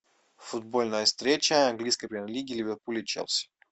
футбольная встреча английской премьер лиги ливерпуль и челси